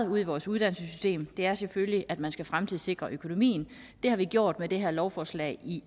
ude i vores uddannelsessystem er selvfølgelig at man skal fremtidssikre økonomien det har vi gjort med det her lovforslag i